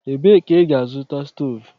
Ebee ka ị ga-azụta stovu?